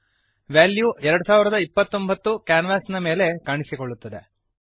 value 2029 ಕ್ಯಾನ್ವಾಸಿನ ಮೇಲೆ ಕಾಣಿಸುತ್ತದೆ